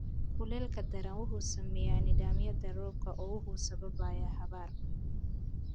Kuleylka daran wuxuu saameeyaa nidaamyada roobka oo wuxuu sababayaa abaar.